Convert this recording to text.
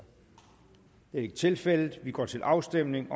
det er ikke tilfældet vi går til afstemning